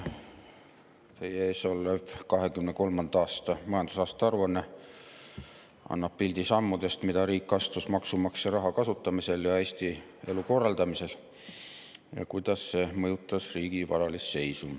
Teie ees olev 2023. aasta majandusaasta aruanne annab pildi sammudest, mida riik astus maksumaksja raha kasutamisel ja Eesti elu korraldamisel, ning sellest, kuidas see mõjutas riigi varalist seisu.